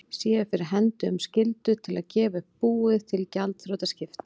séu fyrir hendi um skyldu til að gefa búið upp til gjaldþrotaskipta.